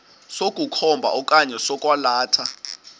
sokukhomba okanye sokwalatha